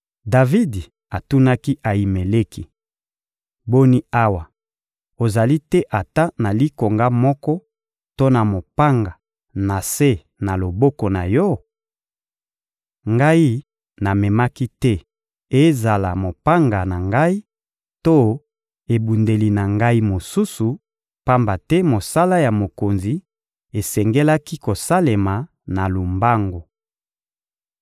Davidi atunaki Ayimeleki: — Boni awa, ozali te ata na likonga moko to na mopanga na se na loboko na yo? Ngai namemaki te ezala mopanga na ngai to ebundeli na ngai mosusu, pamba te mosala ya mokonzi esengelaki kosalema na lombangu.